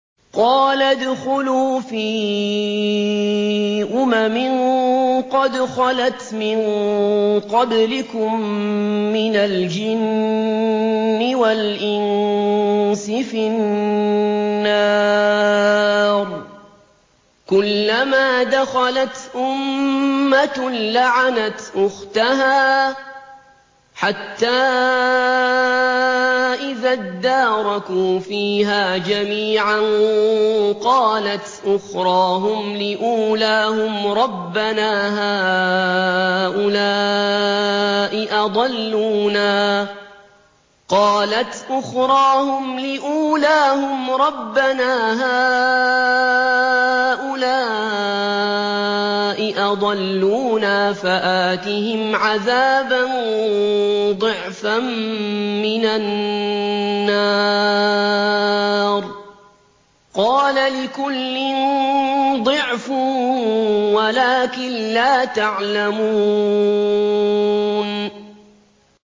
قَالَ ادْخُلُوا فِي أُمَمٍ قَدْ خَلَتْ مِن قَبْلِكُم مِّنَ الْجِنِّ وَالْإِنسِ فِي النَّارِ ۖ كُلَّمَا دَخَلَتْ أُمَّةٌ لَّعَنَتْ أُخْتَهَا ۖ حَتَّىٰ إِذَا ادَّارَكُوا فِيهَا جَمِيعًا قَالَتْ أُخْرَاهُمْ لِأُولَاهُمْ رَبَّنَا هَٰؤُلَاءِ أَضَلُّونَا فَآتِهِمْ عَذَابًا ضِعْفًا مِّنَ النَّارِ ۖ قَالَ لِكُلٍّ ضِعْفٌ وَلَٰكِن لَّا تَعْلَمُونَ